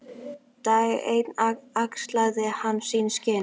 Dag einn axlaði hann sín skinn.